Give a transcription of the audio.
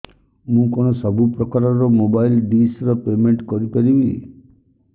ମୁ କଣ ସବୁ ପ୍ରକାର ର ମୋବାଇଲ୍ ଡିସ୍ ର ପେମେଣ୍ଟ କରି ପାରିବି